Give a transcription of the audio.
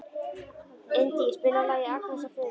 Indí, spilaðu lagið „Agnes og Friðrik“.